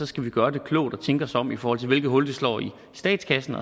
skal vi gøre det klogt og tænke os om i forhold til hvilket hul det slår i statskassen